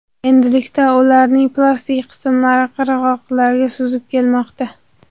Endilikda ularning plastik qismlari qirg‘oqlarga suzib kelmoqda.